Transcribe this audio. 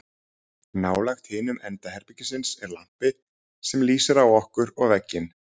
nálægt hinum enda herbergisins er lampi sem lýsir á okkur og vegginn